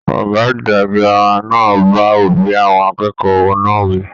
Ọgá àgbà gírámà náà bá òbí àwọn akẹ́kọ̀ọ́ náà wí.